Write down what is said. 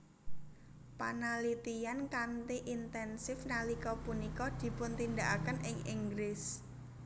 Panalitiyan kanthi intensif nalika punika dipuntindakaken ing Inggris